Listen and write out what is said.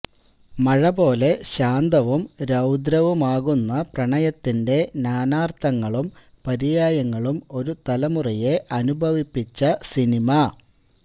മഴ പോലെ ശാന്തവും രൌദ്രവുമാകുന്ന പ്രണയത്തിന്റെ നാനാർഥങ്ങളും പര്യായങ്ങളും ഒരു തലമറുയെ അനുഭവിപ്പിച്ച സിനിമ